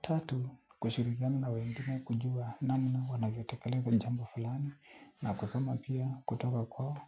Tatu, kushirikiana na wengine kujua namna wanavyotekeleza jamba fulani na kusoma pia kutoka kwao.